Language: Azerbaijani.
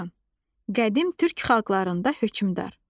Xaqan: Qədim türk xalqlarında hökmdar.